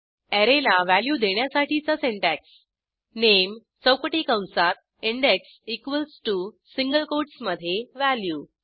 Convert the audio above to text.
अॅरेला value देण्यासाठीचा syntax नामे चौकटी कंसात index equals to single quotes मधे व्हॅल्यू